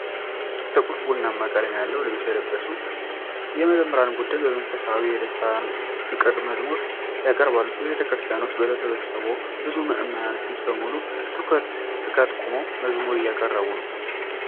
ጥልቁ ቡናማ ቀለም ያለው ልብስ የለበሰ የመዘምራን ቡድን በመንፈሳዊ ደስታና ፍቅር መዝሙር ያቀርባሉ። በቤተክርስቲያን ውስጥ በተሰበሰበው ብዙ ምዕመን ፊት በሙሉ ትኩረትና ትጋት ቆመው መዝሙር እያቀረቡ ነው።